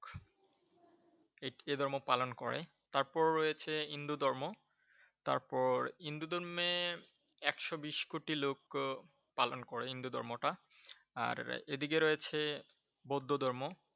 এ এ ধর্ম পালন করে। তারপর রয়েছে হিন্দু ধর্ম, তারপর হিন্দু ধর্মে একশো বিশ কোটি লোক পালন করে হিন্দু ধর্ম টা। আর এদিকে রয়েছে বৌদ্ধ ধর্ম।